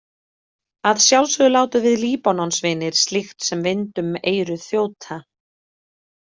Að sjálfsögðu látum við Líbanonsvinir slíkt sem vind um eyru þjóta.